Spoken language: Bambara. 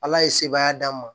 Ala ye sebaya d'an ma